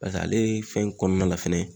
Paseke ale fɛn in kɔnɔna la fɛnɛ